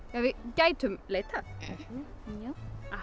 gætum leitað já